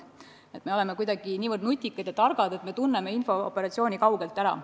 Me arvame, et me oleme kuidagi nii targad, et tunneme infooperatsiooni kaugelt ära.